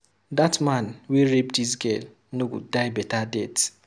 Dat man wey rape dis girl no go die beta death